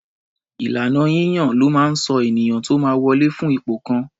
Ìlànà yíyàn ló máa ń sọ ènìyàn tó máa wọlè fún ipò kan.